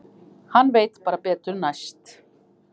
Hann veit bara betur næst.